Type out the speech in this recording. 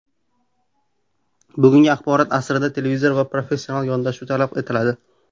Bugungi axborot asrida tezkor va professional yondashuv talab etiladi.